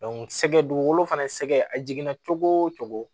sɛgɛ dugukolo fana sɛgɛ a jiginna cogo o cogo